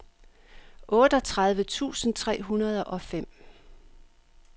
otteogtredive tusind tre hundrede og fem